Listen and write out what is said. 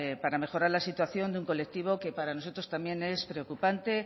para mejorar la situación de un colectivo que para nosotros también es preocupante